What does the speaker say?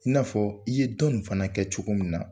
I nafɔ i ye dɔ ni fana kɛ cogo min na.